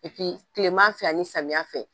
Kilema fɛ ani samiyɛ fɛ